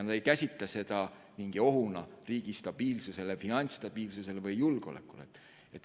Nad ei käsitle seda mingi ohuna riigi stabiilsusele, finantsstabiilsusele või julgeolekule.